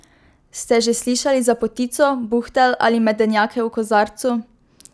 Ste že slišali za potico, buhtelj ali medenjake v kozarcu?